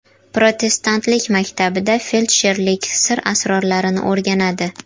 Protestantlik maktabida feldsherlik sir asrorlarini o‘rganadi.